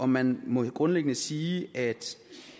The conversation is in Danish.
man må grundlæggende sige at